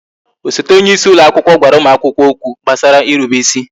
Osote onyeisi ụlọ akwụkwọ gwara ụmụ akwụkwọ okwu gbasara irube ịsị